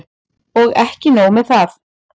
Og ekki nóg með það.